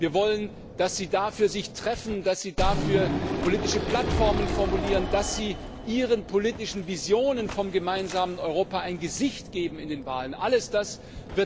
Wir wollen, dass sie sich dafür treffen, dass sie dafür politische Plattformen formulieren, dass sie ihren politischen Visionen vom gemeinsamen Europa in den Wahlen ein Gesicht geben.